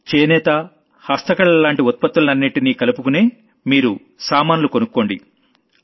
ఒకవేళ handloom handicraft లాంటి product లన్నింటినీ కలుపుకునే మీరు సామాన్లు కొనుక్కోండి